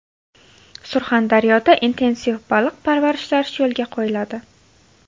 Surxondaryoda intensiv baliq parvarishlash yo‘lga qo‘yiladi.